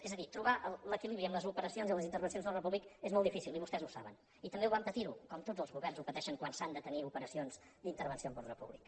és a dir trobar l’equilibri en les operacions i les intervencions d’ordre públic és molt difícil i vostès ho saben i també ho van patir com tots els governs ho pateixen quan s’han de tenir operacions d’intervenció en ordre públic